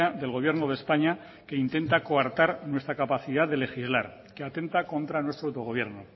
del gobierno de españa que intenta coartar nuestras capacidad de legislar que atenta contra nuestro autogobierno